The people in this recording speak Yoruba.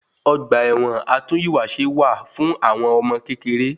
Ọgba ẹ̀wọn atún ìwà ṣe wá fún àwọn ọmọ kékeré.